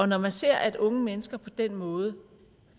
når man ser at unge mennesker på den måde